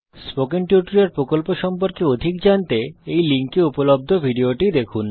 spoken tutorial প্রকল্প সম্পর্কে অধিক জানতে এই লিঙ্কে উপলব্ধ ভিডিওটি দেখুন